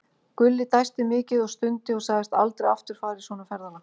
Gulli dæsti mikið og stundi og sagðist aldrei aftur fara í svona ferðalag.